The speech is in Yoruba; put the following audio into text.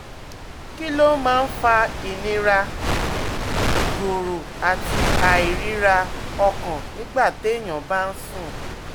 Kí ló máa ń fa ìnira, ìgọ̀rọ̀ àti àìríra-ọkàn nígbà téèyàn bá ń sùn?